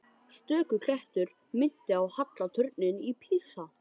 Stöku klettur minnti á halla turninn í Písa.